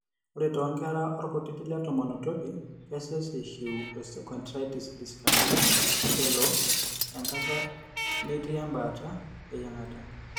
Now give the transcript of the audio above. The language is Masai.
Ore toonkera orkutiti letomon otoki, kesesh eishiu osteochondritis dissecans elo enkata metii embaata eyieng'ata.